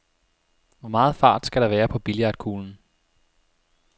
Hvor meget fart skal der være på billiardkuglen?